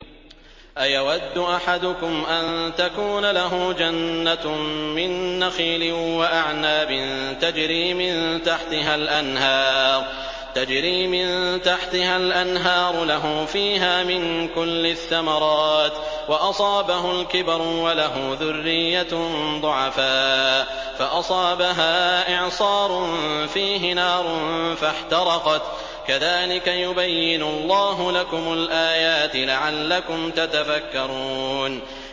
أَيَوَدُّ أَحَدُكُمْ أَن تَكُونَ لَهُ جَنَّةٌ مِّن نَّخِيلٍ وَأَعْنَابٍ تَجْرِي مِن تَحْتِهَا الْأَنْهَارُ لَهُ فِيهَا مِن كُلِّ الثَّمَرَاتِ وَأَصَابَهُ الْكِبَرُ وَلَهُ ذُرِّيَّةٌ ضُعَفَاءُ فَأَصَابَهَا إِعْصَارٌ فِيهِ نَارٌ فَاحْتَرَقَتْ ۗ كَذَٰلِكَ يُبَيِّنُ اللَّهُ لَكُمُ الْآيَاتِ لَعَلَّكُمْ تَتَفَكَّرُونَ